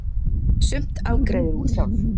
Sumt afgreiðir hún sjálf.